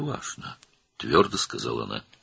Fərqi yoxdur, – qətiyyətlə dedi o.